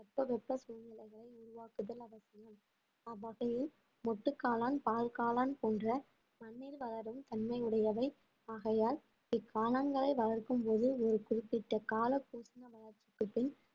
தட்பவெப்ப சூழ்நிலைகள் உருவாக்குதல் அவசியம் அவ்வகையில் மொட்டு காளான் பால் காளான் போன்ற மண்ணில் வளரும் தன்மை உடையவை ஆகையால் இக்காளான்களை வளர்க்கும்போது ஒரு குறிப்பிட்ட கால